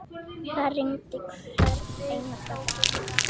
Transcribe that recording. Það rigndi hvern einasta dag.